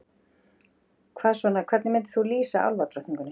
Hvað svona, hvernig myndir þú lýsa álfadrottningunni?